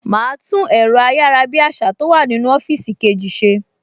Màá tún ẹ̀rọ ayárabíàṣá tó wà nínú ọ́fíìsì kejì ṣe